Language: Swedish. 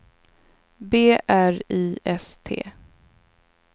B R I S T